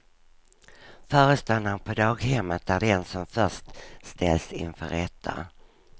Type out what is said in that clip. Föreståndaren på daghemmet är den som först ställs inför rätta.